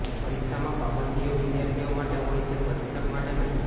પરિક્ષામાં પાબંદીઓ વિદ્યાર્થીઓ માટે હોય છે પરિક્ષક માટે નહીં